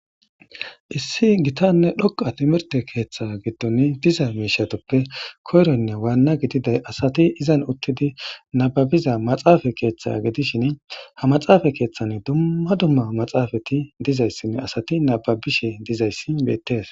issi gitanne dhoqa timirte keeththa giddon diza miishatuppe koyroynne waanna gididay asati izan uttidi nababiza maxaafa keeththa gidishin ha maxaafa keeththan dumma dumma maxaafati dizayssinne asati nababishe dizayssi beettees